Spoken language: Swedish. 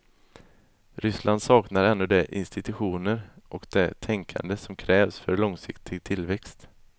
Ryssland saknar ännu de institutioner och det tänkande som krävs för långsiktig tillväxt.